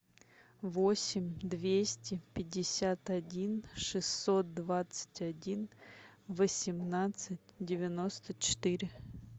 восемь двести пятьдесят один шестьсот двадцать один восемнадцать девяносто четыре